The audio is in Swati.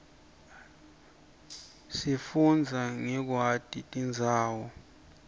sifundza ngekwati tindzawo